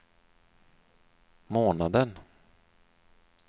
månaden